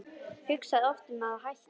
Hugsaði oft um að hætta.